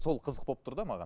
сол қызық болып тұр да маған